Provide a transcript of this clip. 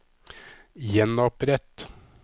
gjenopprett